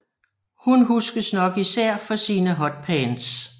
Hun huskes nok især for sine hotpants